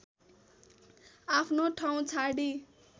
आफ्नो ठाउँ छाडी